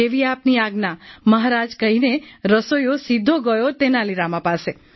જેવી આપની આજ્ઞા મહારાજ કહીને રસોઈયો સીધો ગયો તેનાલી રામા પાસે